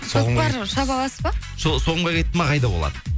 көкпар шаба аласызба соғымға кетті ме қайда ол ат